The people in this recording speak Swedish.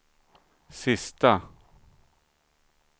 sista